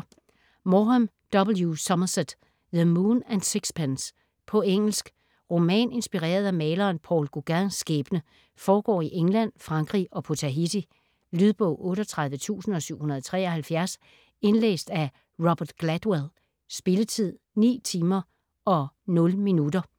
Maugham, W. Somerset: The moon and sixpence På engelsk. Roman inspireret af maleren Paul Gauguins skæbne. Foregår i England, Frankrig og på Tahiti. Lydbog 38773 Indlæst af Robert Gladwell. Spilletid: 9 timer, 0 minutter.